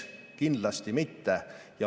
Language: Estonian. Kindlasti mitte.